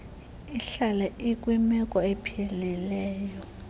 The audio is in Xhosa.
ihlale ikwimeko ephilileyo